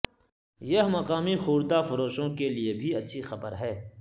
یہ مقامی خوردہ فروشوں کے لئے بھی اچھی خبر ہے